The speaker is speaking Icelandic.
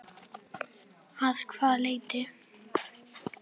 Sindri: Að hvaða leyti?